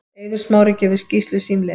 Eiður Smári gefur skýrslu símleiðis